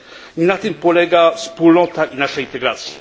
Nie na tym polega wspólnota i nasza integracja.